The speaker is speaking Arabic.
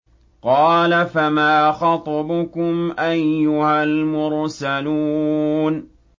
۞ قَالَ فَمَا خَطْبُكُمْ أَيُّهَا الْمُرْسَلُونَ